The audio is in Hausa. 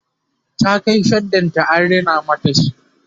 ta Kai shaddan ta an rina mata shi